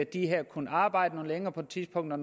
de kunne arbejde noget længere på et tidspunkt og